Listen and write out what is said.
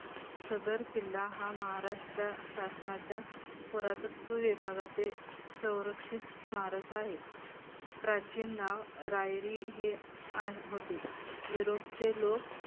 सदर किल्ला हा महाराष्ट्र शासनाच्या पुरातत्व विभागाचे सौरक्षित स्मारक आहे. प्राचीन नाव रायरी हे आ होते. युरोपचे लोक